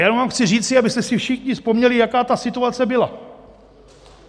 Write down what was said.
Jenom vám chci říct, abyste si všichni vzpomněli, jaká ta situace byla.